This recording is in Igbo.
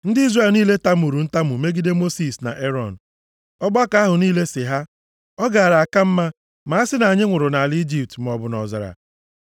Ndị Izrel niile tamuru ntamu megide Mosis na Erọn. Ọgbakọ ahụ niile sị ha, “Ọ gaara aka mma ma a sị na anyị nwụrụ nʼala Ijipt maọbụ nʼọzara a.